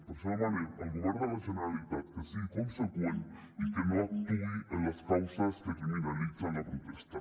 per això demanem al govern de la generalitat que sigui conseqüent i que no ac·tuï en les causes que criminalitzen la protesta